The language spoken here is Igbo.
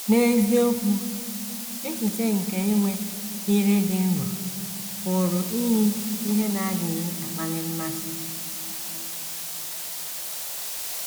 N’eziokwu, echiche nke inwe ‘ ire dị nro ’ pụrụ iyi ihe na - adịghị akpali mmasị.